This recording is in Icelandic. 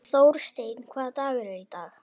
Þórsteinn, hvaða dagur er í dag?